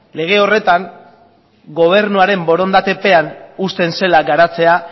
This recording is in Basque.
lege horretan gobernuaren borondatepean uzten zela garatzea